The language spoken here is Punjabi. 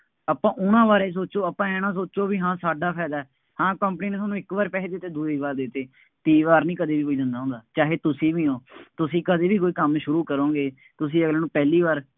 ਆਪਾਂ ਉਹਨਾ ਬਾਰੇ ਸੋਚੋ, ਆਪਾਂ ਆਂਏਂ ਨਾ ਸੋਚੋ ਬਈ ਹਾਂ ਸਾਡਾ ਫਾਇਦਾ, ਹਾਂ company ਨੇ ਤੁਹਾਨੂੰ ਇੱਕ ਵਾਰ ਪੈਸੇ ਦੇ ਦਿੱਤੇ, ਦੂਈ ਵਾਰ ਦੇ ਦਿੱਤੇ, ਤੀਈ ਵਾਰ ਨਹੀਂ ਕਦੀ ਕੋਈ ਦਿੰਦਾ ਹੁੰਦਾ, ਚਾਹੇ ਤੁਸੀਂ ਵੀ ਹੋ, ਤੁਸੀਂ ਕਦੇ ਵੀ ਕੋਈ ਕੰਮ ਸ਼ੁਰੂ ਕਰੋਂਗੇ, ਤੁਸੀਂ ਅਗਲੇ ਨੂੰ ਪਹਿਲੀ ਵਾਰ,